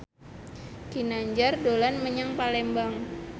Ginanjar dolan menyang Palembang